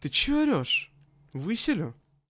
ты что орешь выселю